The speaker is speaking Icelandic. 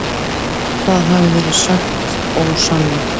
Það hafi verið sagt ósannað.